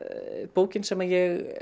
bókin sem ég